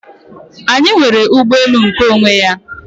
Anyị nwere ụgbọelu nkeonwe anyị.